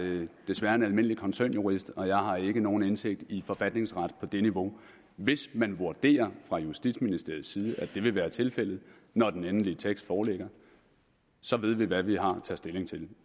desværre en almindelig koncernjurist og jeg har ikke nogen indsigt i forfatningsret på det niveau hvis man vurderer fra justitsministeriets side at det vil være tilfældet når den endelige tekst foreligger så ved vi hvad vi har at tage stilling til